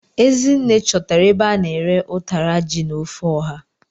Ezinne chọtara ebe a na-ere ụtara ji na ofe ọha.